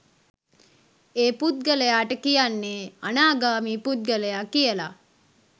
ඒ පුද්ගලයාට කියන්නේ අනාගාමි පුද්ගලයා කියලා.